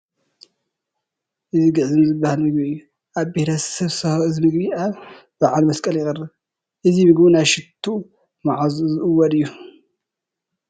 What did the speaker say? እዚ ግዕዝም ዝበሃል ምግቢ እዩ፡፡ ኣብ ብሄረ-ሰብ ሳሆ እዚ ምግቢ ኣብ በዓል መስቀል ይቐርብ፡፡ እዚ ምግቡ ናይ ሽትኡ መዓዛ ዝእውድ እዩ፡፡